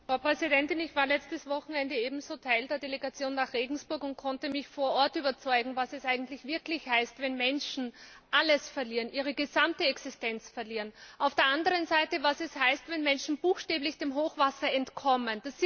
Frau Präsidentin! Ich war letztes Wochenende ebenso Teil der Delegation nach Regensburg und konnte mich vor Ort überzeugen, was es wirklich heißt, wenn Menschen alles verlieren, ihre gesamte Existenz verlieren, auf der anderen Seite was es heißt, wenn Menschen buchstäblich dem Hochwasser entkommen.